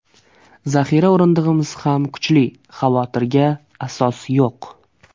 Zaxira o‘rindig‘imiz ham kuchli, xavotirga asos yo‘q.